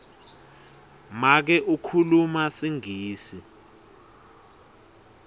make ukhuluma singisi